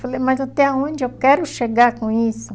Falei, mas até onde eu quero chegar com isso?